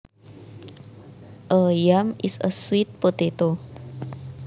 A yam is a sweet potato